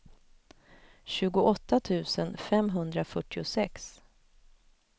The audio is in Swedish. tjugoåtta tusen femhundrafyrtiosex